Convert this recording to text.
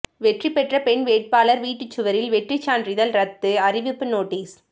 வெற்றி பெற்ற பெண் வேட்பாளா் வீட்டுச் சுவரில் வெற்றிச் சான்றிதழ் ரத்து அறிவிப்பு நோட்டீஸ்